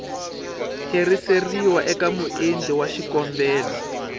tlheriseriwa eka muendli wa xikombelo